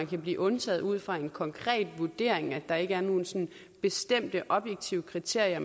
kan blive undtaget ud fra en konkret vurdering altså at der ikke er nogle sådan bestemte objektive kriterier